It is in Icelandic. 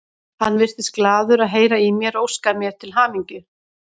Hann virtist glaður að heyra í mér og óskaði mér til hamingju.